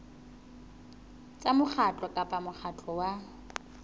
tsa mokgatlo kapa mokgatlo wa